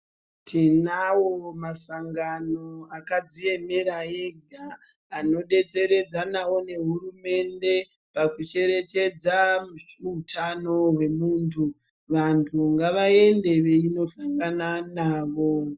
Tinawo masangano akadziemera ega, anodetseredzanawo nehurumende, pakucherechedza utano hwemuntu. Vantu ngavaende veindosangana navo.